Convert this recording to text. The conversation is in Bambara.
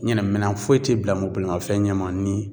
Ɲɛna minan foyi te bila mɔ bolimafɛn ɲɛma ni